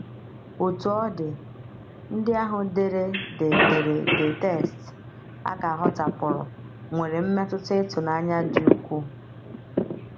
Otú ọ dị, ndị ahụ dere the dere the text a ka hotapụrụ nwere mmetụta ịtụnanya dị ukwuu.